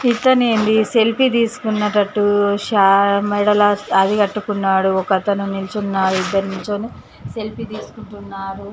ఇక్కడనే సెల్ఫీ తీసుకునేటట్టు మెడలో అది కట్టుకున్నాడు ఒక అతని నించి ఉన్నాడు నించొని సెల్ఫీ తీసుకుంటున్నాడు